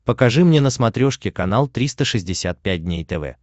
покажи мне на смотрешке канал триста шестьдесят пять дней тв